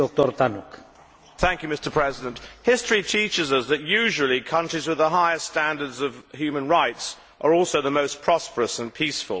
Mr President, history teaches us that usually countries with the highest standards of human rights are also the most prosperous and peaceful.